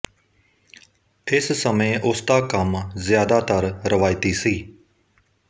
ਇਸ ਸਮੇਂ ਉਸ ਦਾ ਕੰਮ ਜ਼ਿਆਦਾਤਰ ਰਵਾਇਤੀ ਸੀ